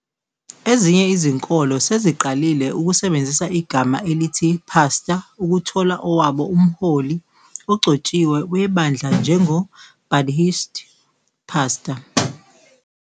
Ezinye izinkolo seziqalile ukusebenzisa igama elithi Pastor ukuthola owabo umholi ogcotshiwe webandla njengo "Buddhist pastor".